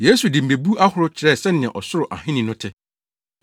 Yesu de mmebu ahorow kyerɛɛ sɛnea Ɔsoro Ahenni no te.